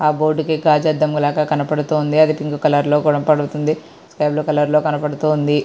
ఆ బోర్డు కి గాజు అర్థము లాగా కనబడుతుంది. అది బ్లూ కలర్ లో కనబడుతుంది. ఎల్లో కలర్ లో కనబడుతుంది.